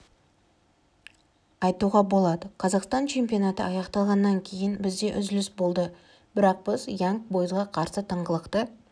айтуға болады қазақстан чемпионаты аяқталғаннан кейін бізде үзіліс болды бірақ біз янг бойзға қарсы тыңғылықты